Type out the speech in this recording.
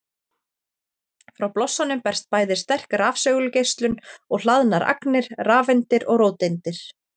Frá blossanum berst bæði sterk rafsegulgeislun og hlaðnar agnir, rafeindir og róteindir.